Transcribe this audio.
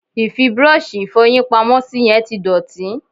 Ì fi búrọ́ọ̀ṣì Ìfọ̀yín pamọ́ sí yẹn tí dọ̀tí